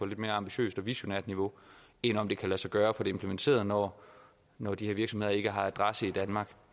lidt mere ambitiøst og visionært niveau end om det kan lade sig gøre at få det implementeret når når de her virksomheder ikke har adresse i danmark